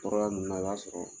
Tɔɔrɔya minnu na i b'a sɔrɔ